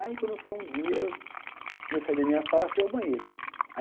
Aí, quando foi um dia, eu saí da minha sala e fui ao banheiro.